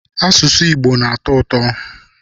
Asụsụ Igbo na-atọ ụtọ.